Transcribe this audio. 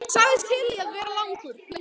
Sagðist til í að vera lengur.